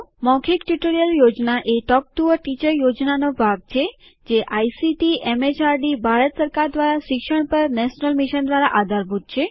મૌખિક ટ્યુટોરીયલ યોજના એ ટોક ટુ અ ટીચર યોજનાનો ભાગ છે જે આઇસીટીએમએચઆરડીભારત સરકાર દ્વારા શિક્ષણ પર નેશનલ મિશન દ્વારા આધારભૂત છે